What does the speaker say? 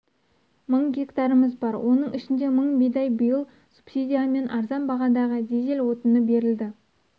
мың гектарымыз бар оның ішінде мың бидай биыл субсидиямен арзан бағадағы дизель отыны берілді